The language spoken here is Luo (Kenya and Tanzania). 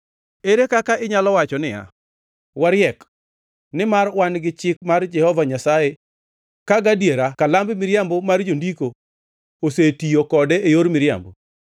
“ ‘Ere kaka inyalo wacho niya, “Wariek, nimar wan gi chik mar Jehova Nyasaye,” ka gadiera kalamb miriambo mar jondiko osetiyo kode e yor miriambo?